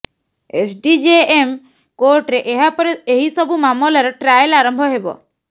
SDJM କୋର୍ଟରେ ଏହା ପରେ ଏହି ସବୁ ମାମଲାର ଟ୍ରାଏଲ ଆରମ୍ଭ ହେବ